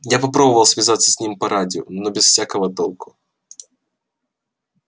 я попробовал связаться с ним по радио но без всякого толку